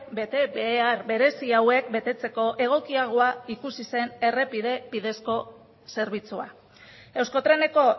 betebehar berezi hauek betetzeko egokiagoa ikusi zen errepide bidezko zerbitzua euskotreneko